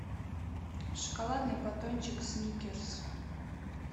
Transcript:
шоколадный батончик сникерс